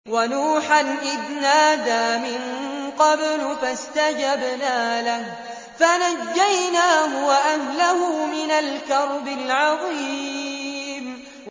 وَنُوحًا إِذْ نَادَىٰ مِن قَبْلُ فَاسْتَجَبْنَا لَهُ فَنَجَّيْنَاهُ وَأَهْلَهُ مِنَ الْكَرْبِ الْعَظِيمِ